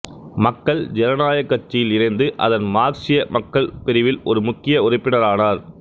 மக்கள் ஜனநாயகக் கட்சியில் இணைந்து அதன் மார்க்சிய மக்கள் பிரிவில் ஒரு முக்கிய உறுப்பினரானார்